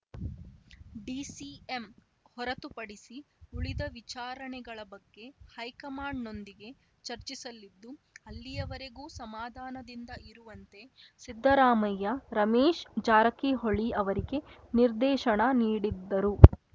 DCM ಹೊರತುಪಡಿಸಿ ಉಳಿದ ವಿಚಾರಣೆಗಳ ಬಗ್ಗೆ ಹೈಕಮಾಂಡ್‌ನೊಂದಿಗೆ ಚರ್ಚಿಸಲಿದ್ದು ಅಲ್ಲಿಯವರೆಗೂ ಸಮಾಧಾನದಿಂದ ಇರುವಂತೆ ಸಿದ್ದರಾಮಯ್ಯ ರಮೇಶ್‌ ಜಾರಕಿಹೊಳಿ ಅವರಿಗೆ ನಿರ್ದೇಶನ ನೀಡಿದ್ದರು